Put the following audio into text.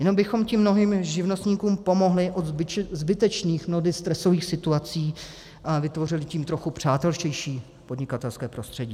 Jenom bychom tím mnohým živnostníkům pomohli od zbytečných, mnohdy stresových situací a vytvořili tím trochu přátelštější podnikatelské prostředí.